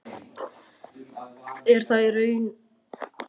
Er þá í raun um endurgreiðslu hlutafjárins að ræða.